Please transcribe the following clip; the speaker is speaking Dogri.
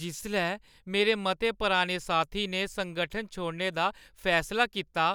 जिसलै मेरे मते पराने साथी ने संगठन छोड़ने दा फैसला कीता